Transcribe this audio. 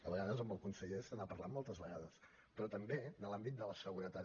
a vegades amb el conseller se n’ha parlat moltes vegades però també de l’àmbit de la seguretat